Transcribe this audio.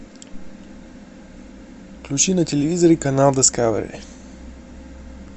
включи на телевизоре канал дискавери